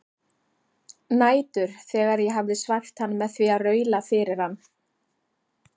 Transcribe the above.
Nætur þegar ég hafði svæft hann með því að raula fyrir hann